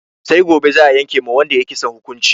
Sai gobe za'a yanke ma wanda ya yi kisan hukunci.